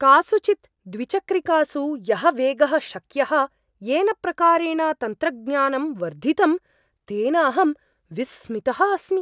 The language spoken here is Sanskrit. कासुचित् द्विचक्रिकासु यः वेगः शक्यः, येन प्रकारेण तन्त्रज्ञानं वर्धितं तेन अहं विस्मितः अस्मि।